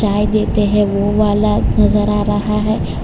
चाय देते हैं वो वाला नजर आ रहा है।